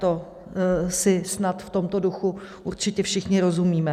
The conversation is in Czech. To si snad v tomto duchu určitě všichni rozumíme.